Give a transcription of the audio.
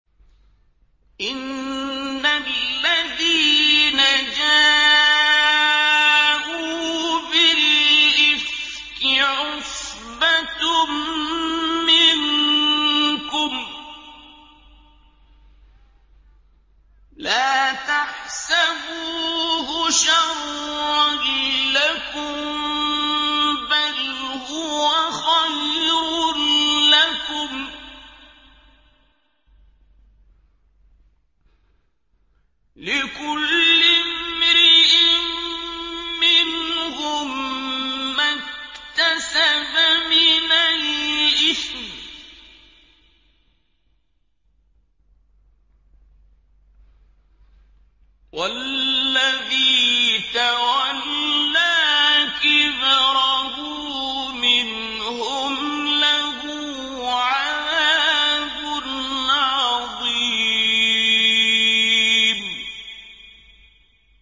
إِنَّ الَّذِينَ جَاءُوا بِالْإِفْكِ عُصْبَةٌ مِّنكُمْ ۚ لَا تَحْسَبُوهُ شَرًّا لَّكُم ۖ بَلْ هُوَ خَيْرٌ لَّكُمْ ۚ لِكُلِّ امْرِئٍ مِّنْهُم مَّا اكْتَسَبَ مِنَ الْإِثْمِ ۚ وَالَّذِي تَوَلَّىٰ كِبْرَهُ مِنْهُمْ لَهُ عَذَابٌ عَظِيمٌ